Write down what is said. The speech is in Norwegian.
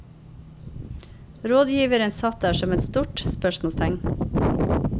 Rådgiveren satt der som et stort spørsmålstegn.